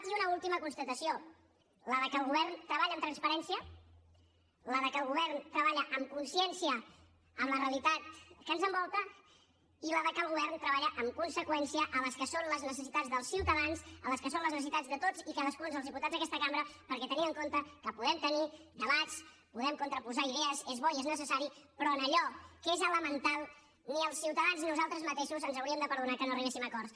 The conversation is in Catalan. i una última constatació que el govern treballa amb transparència que el govern treballa amb consciència de la realitat que ens envolta i que el govern treballa en conseqüència amb les que són les necessitats dels ciutadans amb les que són les necessitats de tots i cadascun dels diputats d’aquesta cambra perquè tenint en compte que podem tenir debats podem contraposar idees és bo i és necessari però en allò que és elemental ni els ciutadans ni nosaltres mateixos ens hauríem de perdonar que no arribéssim a acords